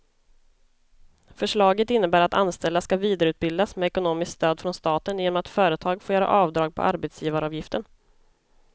Förslaget innebär att anställda ska vidareutbildas med ekonomiskt stöd från staten genom att företagen får göra avdrag på arbetsgivaravgiften.